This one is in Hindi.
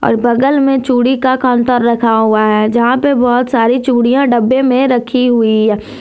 और बगल में चूड़ी का काउंटर रखा हुआ है जहां पे बहोत सारी चूड़ियां डब्बे में रखी हुई है।